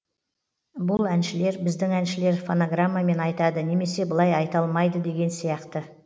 бұл әншілер біздің әншілер фонограммамен айтады немесе былай айта алмайды деген сияқты